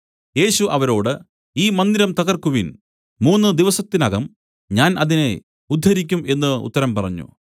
യേശു അവരോട് ഈ മന്ദിരം തകർക്കുവിൻ മൂന്നു ദിവസത്തിനകം ഞാൻ അതിനെ ഉദ്ധരിക്കും എന്നു ഉത്തരം പറഞ്ഞു